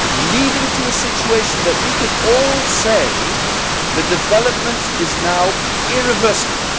leading to a situation where we can all say the development is now irreversible.